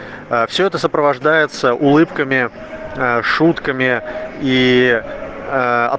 все это сопровождается улыбками шутками и а